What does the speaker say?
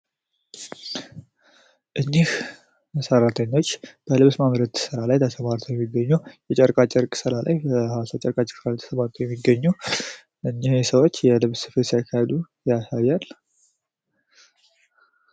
እነዚህ ሰራተኞች በጨርቃጨርቅ ስራ ላይ ተሰማርተው ሲሰሩ ያሳያል።